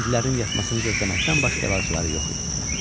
Hindlilərin yatmasını gözləməkdən başqa əlacları yox idi.